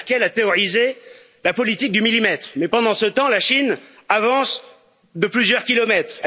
Mme Merkel a théorisé la politique du millimètre, mais pendant ce temps, la Chine avance de plusieurs kilomètres.